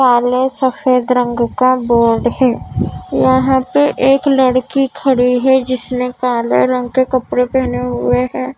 काले सफ़ेद रंग का बोर्ड है यहाँ पे एक लड़की खड़ी है जिसने काले रंग के कपड़े पहने हुए हैं।